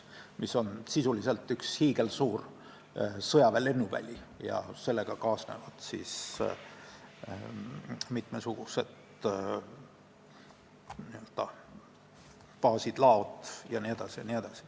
See on sisuliselt üks hiigelsuur sõjaväe lennuväli, millega kaasnevad mitmesugused baasid, laod jne, jne.